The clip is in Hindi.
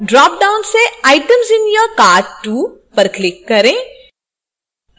dropdown से items in your cart: 2 पर click करें